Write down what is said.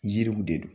Yiriw de don